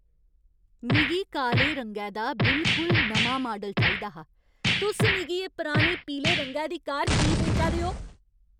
मिगी काले रंगै दा बिलकुल नमां माडल चाहिदा हा। तुस मिगी एह् पुरानी पीले रंगै दी कार की बेचा दे ओ?